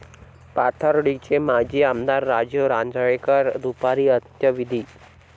पाथर्डीचे माजी आमदार राजीव राजळेंवर दुपारी अंत्यविधी